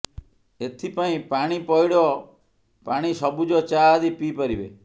ଏଥିପାଇଁ ପାଣି ପଇଡ଼ ପାଣି ସବୁଜ ଚା ଆଦି ପିଇ ପାରିବେ